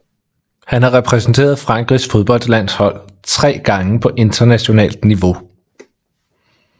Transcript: Han har repræsenteret Frankrigs fodboldlandshold tre gange på internationalt niveau